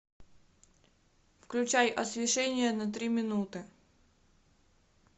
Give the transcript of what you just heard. включай освещение на три минуты